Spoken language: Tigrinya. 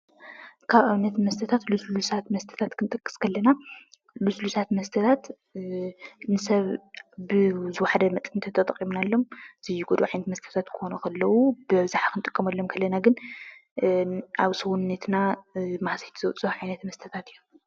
ካብ ኣብነት መስተታት ልስሉሳት መስተታት ክንጠቅስ ከለና ልስሉሳት መስተታት ንሰብ ብዝዋሓደ መጠን ተተጠቒምናሎም ዘይጎድኡ ዓይነታት ክኾኑ ከለው ብበዝሒ ክንጥቀመሎም ከለና ግን ኣብ ሰውነትና ጉድኣት ዘብፅሑ መስተታት እዮም፡፡